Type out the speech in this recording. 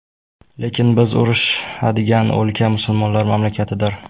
Lekin biz urushadigan o‘lka musulmonlar mamlakatidir.